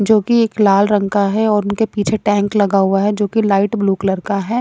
जो कि एक लाल रंग का है और उनके पीछे टैंक लगा हुआ है जो कि लाइट ब्लू कलर का है।